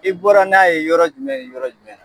I bɔra n'a ye yɔrɔ jumɛn ni yɔrɔ jumɛn?